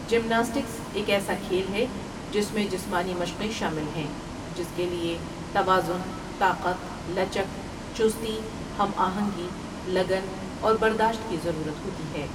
Gymnastics ایک ایسا کھیل ہے جس میں جسمانی مشقیں شامل ہیں جس کے لۓ توازن، طاقت، لچک، چستی، ہم آہنگی، لگن اور برداشت کی ضرورت ہوتی ہے۔